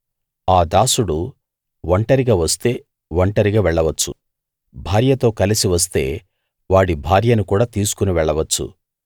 ఆ దాసుడు ఒంటరిగా వస్తే ఒంటరిగా వెళ్లవచ్చు భార్యతో కలసి వస్తే వాడి భార్యను కూడా తీసుకుని వెళ్ళవచ్చు